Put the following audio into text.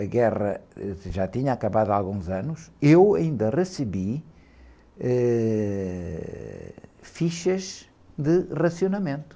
a guerra, ãh, já tinha acabado há alguns anos, eu ainda recebi, eh, fichas de racionamento.